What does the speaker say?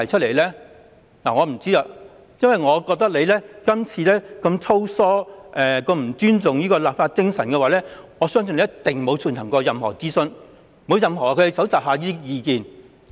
然而，當局這次修例如此粗疏，又不尊重立法精神，我相信一定沒有進行任何諮詢和蒐集任何意見。